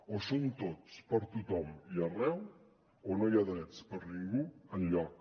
o hi són tots per a tothom i arreu o no hi ha drets per a ningú enlloc